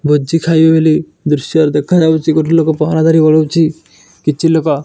ଭୋଜି ଖାଇବେ ବୋଲି ଦୃଶ୍ୟ ଦେଖାଯାଉଛି। ଗୋଟେ ଲୋକ ପହରାଁ ଧରି ଓଳଉଚି କିଛି ଲୋକ।